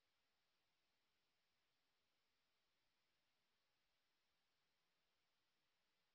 spoken tutorial talk to a teacher প্রকল্পের অংশবিশেষ